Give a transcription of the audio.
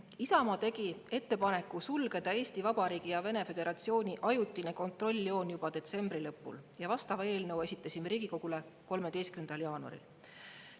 Isamaa tegi ettepaneku sulgeda Eesti Vabariigi ja Vene föderatsiooni ajutine kontrolljoon juba detsembri lõpul ja vastava eelnõu esitasime Riigikogule 13. jaanuaril.